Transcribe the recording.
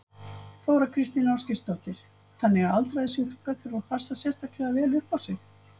Þóra Kristín Ásgeirsdóttir: Þannig að aldraðir sjúklingar þurfa að passa sérstaklega vel upp á sig?